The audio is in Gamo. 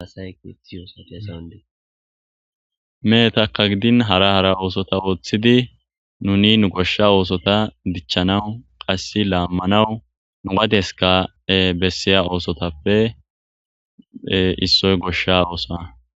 Mehetakka gidin hara hara oosota ooththidi nuni nu goshsha oosota dichchanaw qass laammanawu nu wadeska bessiya oosotappe issoy goshsha oosa